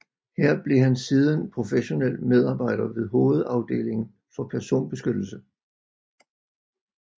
Her blev han siden professionel medarbejder ved hovedafdelingen for personbeskyttelse